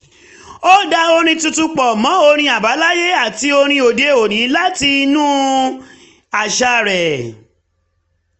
ó dá orin tuntun pọ̀ mọ́ orin àbáláyé àti orin òde-òní láti inú àṣà rẹ